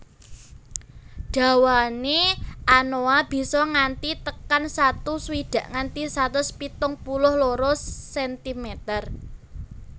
Dawane anoa bisa nganti tekan satu swidak nganti satus pitung puluh loro sentimeter